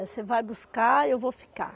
Você vai buscar e eu vou ficar.